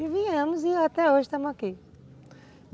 E viemos e até hoje estamos aqui.